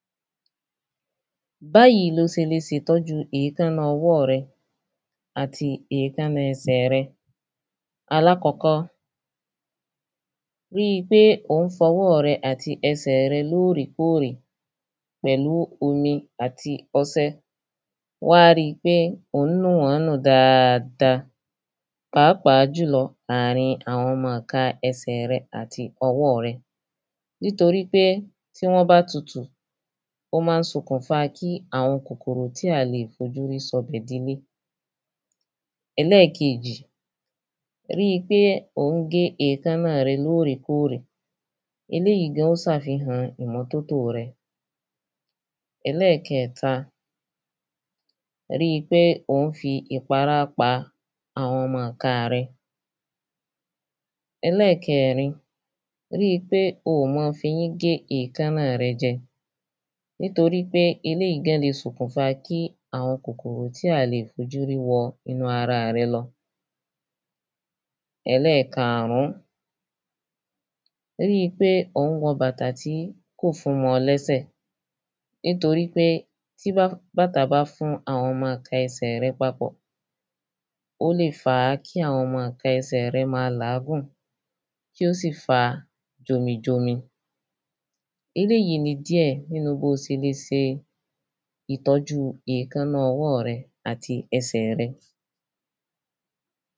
Báyì lo se le sè tó̩ju èkáná o̩wó̩ re̩ àtí èkáná e̩sè̩ re̩. Alákò̩ko̩, ri pé ò n fo̩wó̩ re̩ àti e̩sè̩ re̩ lóòrèkóòrè pè̩lú omi àti o̩se̩ wá ri pé òhún náà nù dáada pàápàá jù lo̩, àrin àwo̩n na ka e̩sè̩ re àti o̩wó re nítorípé, tí wó̩n bá tutù ó má n sokùn fa kí àwo̩n kòkòrò tí à lè fojúrí so̩bè̩ dilé. E̩lé̩è̩kejì, ri pé ò ń gé èkáná re̩ lóòrèkóòrè, eléyì gan sàfihàn ìmo̩tótó re̩. E̩lé̩è̩ke̩ta, ri pé ò n fi ìpará pa àwo̩n na ìka re̩. E̩lé̩è̩kèrin, ri pé o ò ma fi eyín gé èkáná re̩ je̩, nítorípé elèyi gan lè sokùn fa kí àwo̩n kòkòrò tí a à lè fojú rí wo̩ inú ara re̩ lo̩. E̩lé̩è̩kàrún, ri pé ò ń nu bàtà tí kó fun mó̩ o̩ lé̩sè nítorípé tí bá tí bàtà bá fún àwo̩n na e̩sè̩ re̩ papò̩, ó lè fa kí àwo̩n na e̩sè̩ re̩ ma làágùn kí ó sì fa jomijomi. Eléyì ni díè̩ bí o sè le se ìtó̩ju èkáná o̩wó̩ re̩ àti e̩sè̩ re̩.